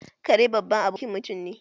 Kare baban abokin mutum ne